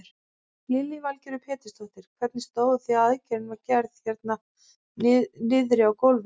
Lillý Valgerður Pétursdóttir: Hvernig stóð á því að aðgerðin var gerð hérna niðri á gólfi?